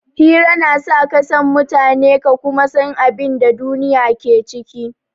Hira na sa ka san mutane ka kuma san abin da duniya ke ciki.